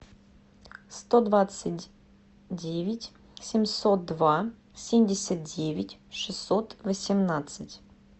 сто двадцать девять семьсот два семьдесят девять шестьсот восемнадцать